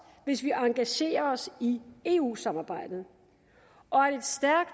hvis vi engagerer os i eu samarbejdet og